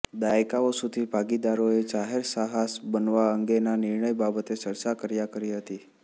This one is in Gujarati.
દાયકાઓ સુધી ભાગીદારોએ જાહેર સાહસ બનવા અંગેના નિર્ણય બાબતે ચર્ચા કર્યા કરી હતી